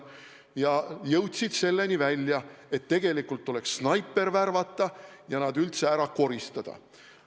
Ja jõudsid selleni välja, et tegelikult tuleks snaiper värvata ja nad üldse ära koristada.